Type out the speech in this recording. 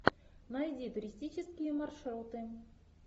найди туристические маршруты